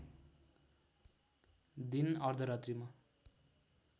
दिन अर्धरात्रिमा